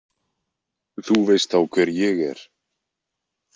Þú veist þá hver ég er